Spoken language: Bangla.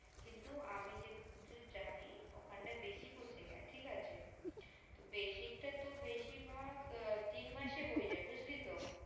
কিন্তু আমি যেটুকু জানি ওখানটায় basic ও শেখায় ঠিক আছে basic টা তো বেশির ভাগ তিন মাসেই হয়ে যায় বুজলি